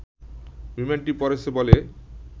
বিমানটি পড়েছে বলে